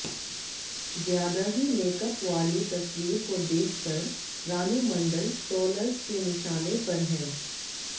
ज्यादा ही मेकअप वाली तस्वीर को देखकर रानू मंडल ट्रोलर्स के निशाने पर हैं